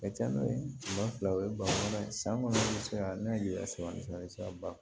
A ka ca n'o ye ba fila o ye bala ye san kɔnɔ sisan n'a ye sɔr'a ban